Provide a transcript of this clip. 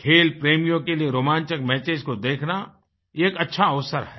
खेल प्रेमियों के लिए रोमांचक मैचेस को देखना एक अच्छा अवसर है